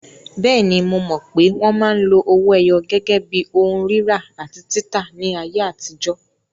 Bẹ́ẹ̀ni, mo mọ̀ pé wọn máa ń lo owó ẹyọ gẹ́gẹ́ bí ohun rírà àti títà ní ayé àtijọ́.